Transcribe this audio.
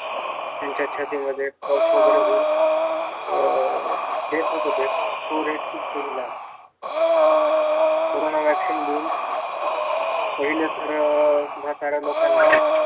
त्यांचा छातीमध्ये वगैरे cough होऊन अं death होत तो rate खूप कमी झाला. कोरोना vaccine घेऊन पहिले तर म्हाताऱ्या लोकांमध्ये